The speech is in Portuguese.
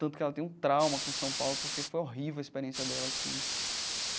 Tanto que ela tem um trauma com São Paulo porque foi horrível a experiência dela aqui.